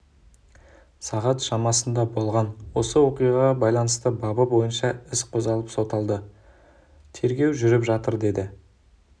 сағат шамасында болған осы оқиғаға байланысты бабы бойынша іс қозғалып соталды тергеу жүріп жатыр деді